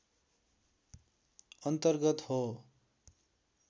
अन्तर्गत हो